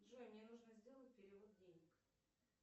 джой мне нужно сделать перевод денег